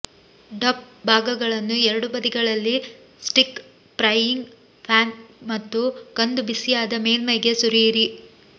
deaf ಭಾಗಗಳನ್ನು ಎರಡೂ ಬದಿಗಳಲ್ಲಿ ಸ್ಟಿಕ್ ಫ್ರೈಯಿಂಗ್ ಪ್ಯಾನ್ ಮತ್ತು ಕಂದು ಬಿಸಿಯಾದ ಮೇಲ್ಮೈಗೆ ಸುರಿಯಿರಿ